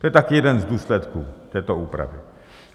To je taky jeden z důsledků této úpravy.